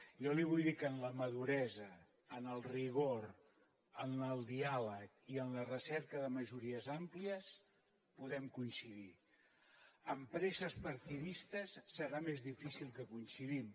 jo li vull dir que en la maduresa en el rigor en el diàleg i en la recerca de majories àmplies podem coincidir en presses partidistes serà més difícil que coincidim